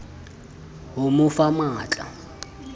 ho mo fa matl a